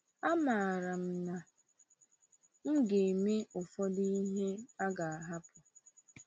Amaara m na m ga-eme ụfọdụ ihe a ga-ahapụ.